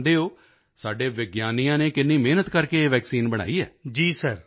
ਤੁਸੀਂ ਜਾਣਦੇ ਹੋ ਸਾਡੇ ਵਿਗਿਆਨੀਆਂ ਨੇ ਕਿੰਨੀ ਮਿਹਨਤ ਕਰਕੇ ਇਹ ਵੈਕਸੀਨ ਬਣਾਈ ਹੈ